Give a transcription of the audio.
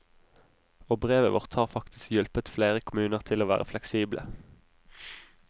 Og brevet vårt har faktisk hjulpet flere kommuner til å være fleksible.